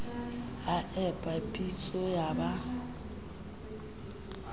a epa pitso ya ba